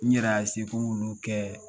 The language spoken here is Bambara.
N yɛrɛ y'a ko n b'olu kɛ